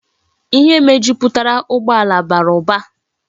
Ihe mejuputara ugbo ala bara uba